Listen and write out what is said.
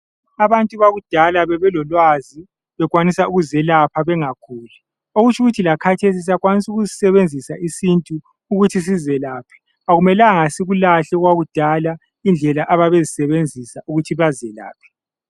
Abantu bakudala bebelolwazi bekwanisa ukuzelapha bengaguli okutsho ukuthi lakathesi siyakwanisa ukusisebenzisa isintu ukuthi sizelaphe akumelanga sikulahle okwakudala indlela ababezisebenzisa ukuthi bazelaphe